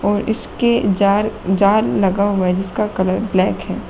इसके जार जार जाल लगा हुआ है जिसका कलर ब्लैक है।